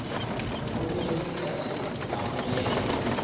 moholegi di ka se amogelwe